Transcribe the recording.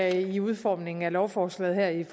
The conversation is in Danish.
i udformningen af lovforslaget